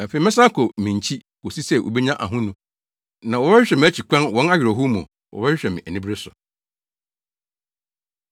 Afei mɛsan akɔ me nkyi kosi sɛ wobenya ahonu. Na wɔbɛhwehwɛ mʼakyi kwan; wɔn awerɛhow mu, wɔbɛhwehwɛ me anibere so.”